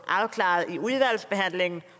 afklaret i udvalgsbehandlingen